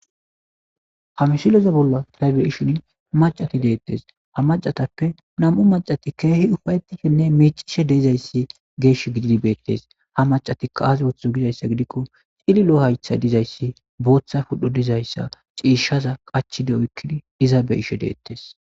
Hamisileza bolla taybe ishin macati deettes ha macatappe nam7u macati keehi ufayettishenne mecishe deezayssi geesh gididibeettes ha macatikka aazwotho gizayssa gidikko xililo haytha dizayssi booththa pudho dizayssa ciishaza qachide oykkidi diza be ishe deettes